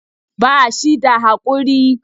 Ba shi da haƙuri.